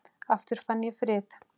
Aftur fann ég frið.